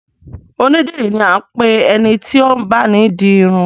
Onídìrí ni a ń pe ẹni tí ó ń báni di irun